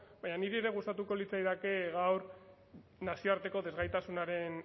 baina niri ere gustatuko litzaidake gaur nazioarteko desgaitasunaren